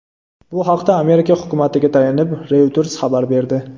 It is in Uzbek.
Bu haqda Amerika hukumatiga tayanib, Reuters xabar berdi .